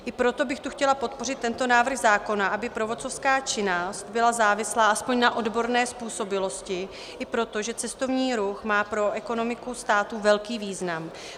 I proto bych tu chtěla podpořit tento návrh zákona, aby průvodcovská činnost byla závislá aspoň na odborné způsobilosti, i proto, že cestovní ruch má pro ekonomiku státu velký význam.